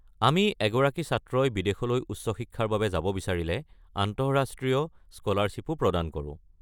আমি এগৰাকী ছাত্ৰই বিদেশলৈ উচ্চ শিক্ষাৰ বাবে যাব বিচাৰিলে আন্তঃৰাষ্ট্ৰীয় স্কলাৰশ্বিপো প্ৰদান কৰো।